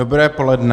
Dobré poledne.